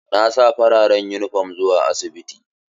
Na sa farar yunifom zuwa asibiti.